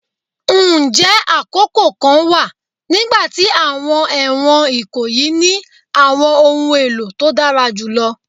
Njẹ akoko kan wa nigbati awọn ẹwọn ikoyi ni awọn ohun elo to dara julọ?